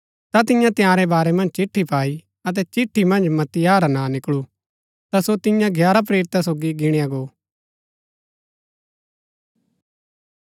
ता तिन्ये तंयारै बारै मन्ज चिट्ठी पाई अतै चिट्ठी मन्ज मत्तियाह रा नां निकळू ता सो तियां ग्यारह प्रेरिता सोगी गिणआ गो